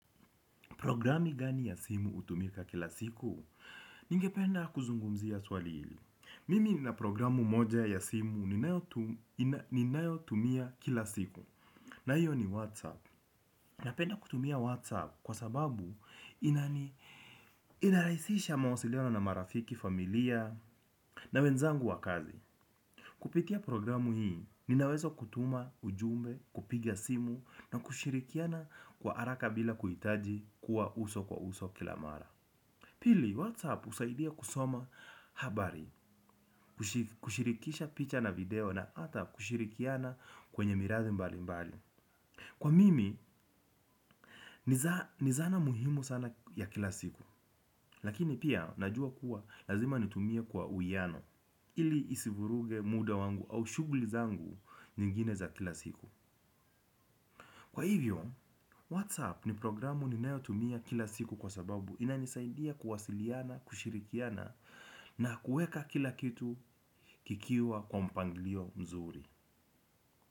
Programu gani ya simu hutumika kila siku, ningependa kuzungumzia swali hili. Mimi nina programu moja ya simu ninayotumia kila siku na hiyo ni Whatsapp. Napenda kutumia Whatsapp kwa sababu inarahisisha mawasiliano na marafiki, familia na wenzangu wa kazi. Kupitia programu hii, ninaweza kutuma ujumbe, kupiga simu na kushirikiana kwa haraka bila kuhitaji kuwa uso kwa uso kilamara. Pili, WhatsApp husaidia kusoma habari, kushirikisha picha na video na hata kushirikiana kwenye miradi mbali mbali. Kwa mimi, nizana muhimu sana ya kila siku. Lakini pia, najua kuwa, lazima nitumia kwa uwiano. Ili isivuruge muda wangu au shughuli zangu nyingine za kila siku. Kwa hivyo, Whatsapp ni programu ninayo tumia kila siku kwa sababu inanisaidia kuwasiliana, kushirikiana na kuweka kila kitu kikiwa kwa mpanglio mzuri.